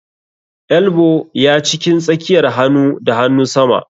Elbow ya cikin tsakiyar hanu da hanunsama.